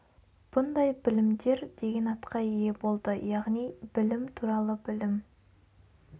бұндай білімдер деген атқа ие болды яғни білім туралы білім